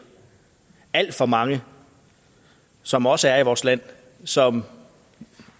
alt for mange som også er i vores land som